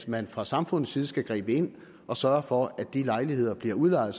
at man fra samfundets side skal gribe ind og sørge for at de lejligheder bliver udlejet